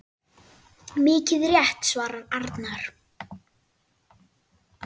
Mikið rétt svarar Arnar.